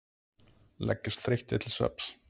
Leggjast þreyttir til svefns.